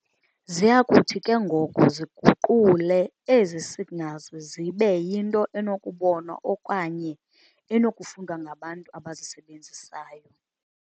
Ziyakuthi ke ngoko ziguqule ezi signals zibe yinto enokubonwa okanye enokufundwa ngabantu abazisebenzisayo.